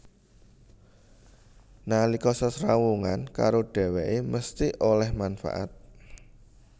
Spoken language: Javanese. Nalika sesrawungan karo dhèwèké mesthi oleh manfaat